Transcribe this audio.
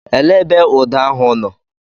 Elee ebe ụda ahụ nọ?